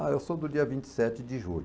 Ah, eu sou do dia vinte e sete de julho.